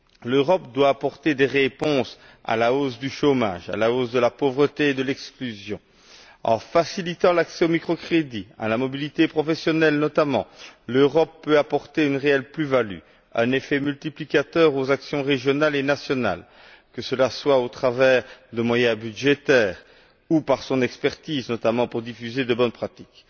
L'Europe doit apporter des réponses à la hausse du chômage, de la pauvreté et de l'exclusion. En facilitant l'accès au micro crédit, notamment à la mobilité professionnelle, l'Europe peut apporter une réelle plus value et un effet multiplicateur aux actions régionales et nationales, que ce soit au travers de moyens budgétaires ou par son expertise, notamment pour diffuser de bonnes pratiques,